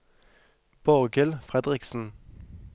Borghild Fredriksen